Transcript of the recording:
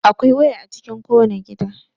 Akwai waya a cikin kowane gida.